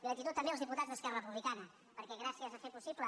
gratitud també als diputats d’esquerra republicana perquè gràcies a fer possible